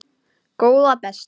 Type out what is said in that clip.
Góða besta!